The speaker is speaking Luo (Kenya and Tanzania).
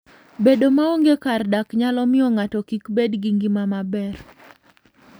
Bedo maonge kar dak nyalo miyo ng'ato kik bed gi ngima maber.